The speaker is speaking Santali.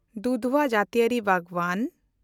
ᱫᱩᱫᱷᱣᱟ ᱡᱟᱹᱛᱤᱭᱟᱹᱨᱤ ᱵᱟᱜᱽᱣᱟᱱ